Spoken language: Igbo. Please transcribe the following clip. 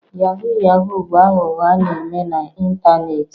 Yahoo yahoo bụ aghụghọ a na-eme na ịntanetị